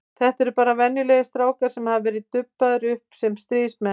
Þetta eru bara venjulegir strákar sem hafa verið dubbaðir upp sem stríðsmenn.